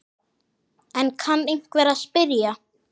Enn kann einhver að spyrja.